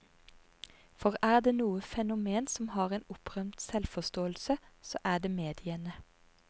For er det noe fenomen som har en opprømt selvforståelse, så er det mediene.